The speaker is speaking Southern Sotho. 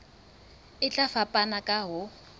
e tla fapana ka ho